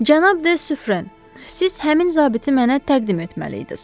Cənab De Süfren, siz həmin zabiti mənə təqdim etməliydiniz.